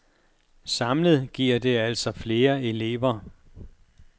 Samlet giver det altså flere elever.